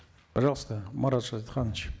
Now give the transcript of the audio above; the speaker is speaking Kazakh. пожалуйста марат шадетханович